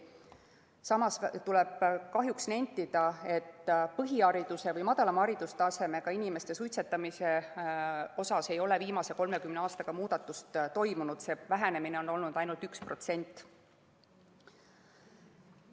Samas tuleb kahjuks nentida, et põhihariduse või madalama haridustasemega inimeste suitsetamises ei ole viimase 30 aastaga muudatust toimunud, vähenemine on olnud ainult 1%.